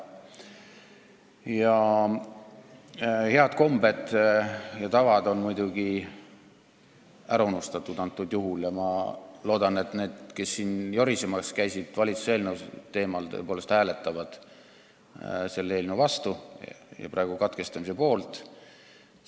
Praegusel juhul on head kombed ja tavad ära unustatud ja ma loodan, et need, kes siin valitsuse eelnõu teemal on jorisenud, tõepoolest hääletavad selle eelnõu vastu ehk siis täna teise lugemise katkestamise poolt.